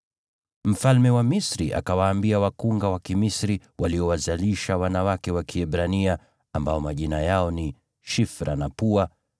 Mfalme wa Misri akawaambia wakunga wa Kimisri waliowazalisha wanawake wa Kiebrania, ambao majina yao ni Shifra na Pua,